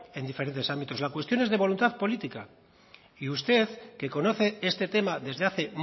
en diferentes ámbitos la cuestión es de voluntad política y usted que conoce este tema desde hace